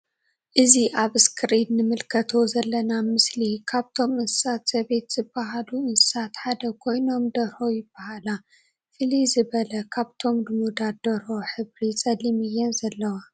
እዚ አብ እስክሪን እንምልከቶ ዘለና ምስሊ ካብቶም እንስሳ ዘቤት ዝበሃሉ እንስሳ ሓደ ኮይኖም ደርሆ ይበሃላ::ፍልይ ዝበለ ካብቶም ሉሙዳት ደርሆ ሕብሪ ፀሊም እየን ዘለዋ::